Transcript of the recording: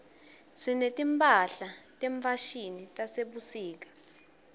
sineti mphahla tefashini tasebusika